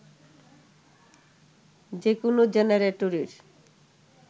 যে কোন জেনারেটরের